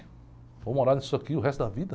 Vou morar nisso aqui o resto da vida?